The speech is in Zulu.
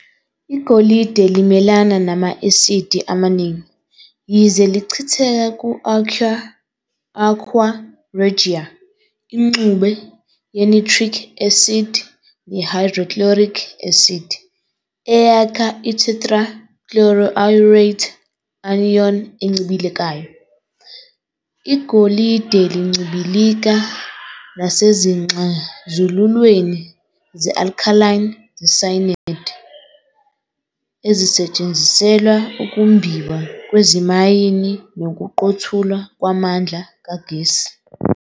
Igolide limelana nama-asidi amaningi, yize lichitheka ku-aqua regia, ingxube ye-nitric acid ne-hydrochloric acid, eyakha i-tetrachloroaurate anion encibilikayo. Igolide lincibilika nasezixazululweni ze-alkaline ze-cyanide, ezisetshenziselwa ukumbiwa kwezimayini nokuqothulwa kwamandla kagesi.